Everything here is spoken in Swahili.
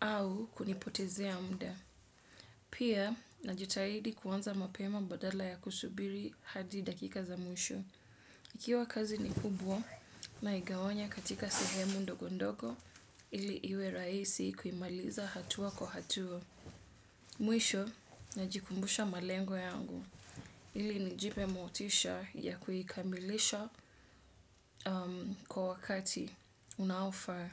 au kunipotezea umda. Pia najitahidi kuanza mapema badala ya kusubiri hadi dakika za mwisho. Ikiwa kazi ni kubwa naigawanya katika sehemu ndogondogo ili iwe rahisi kuimaliza hatua kwa hatua. Mwisho najikumbusha malengo yangu ili nijipe motisha ya kuikamilisha kwa wakati unaofaa.